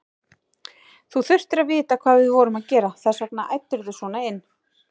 Þú þurftir að vita hvað við vorum að gera, þess vegna æddirðu svona inn.